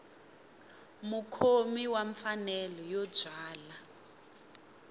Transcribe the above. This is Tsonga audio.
mukhomi wa mfanelo yo byala